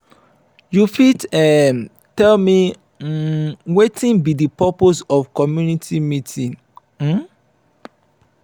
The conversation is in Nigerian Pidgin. you fit um tell me um wetin be di purpose of community meeting? um